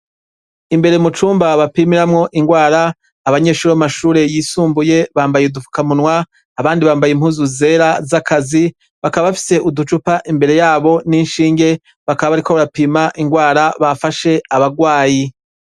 Imbere mu cumba bapimiramwo indwara abanyeshuri b'amashureyisumbuye bambaye udufukamunwa, abandi bambaye impuzu zera z'akazi; bakaba bafise uducupa imbere yabo n'inshinge bakaba bariko barapima indwara bafashe abagwayi.